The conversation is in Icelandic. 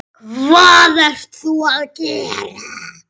Jón: Hvað ertu að gera?